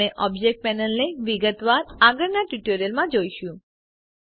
આપણે ઓબ્જેક્ટ પેનલને વિગતવાર આગળના ટ્યુટોરિયલ્સમાં જોશું